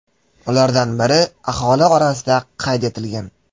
Ulardan biri aholi orasida qayd etilgan.